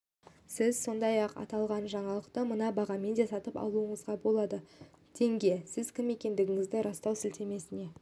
сіз сондай-ақ аталған жаңалықты мына бағамен де сатып алуыңызға болады тенге сіз кім екендігіңізді растау сілтемесіне